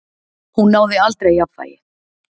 Hún náði aldrei jafnvægi.